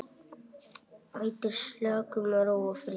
Veitir slökun, ró og frið.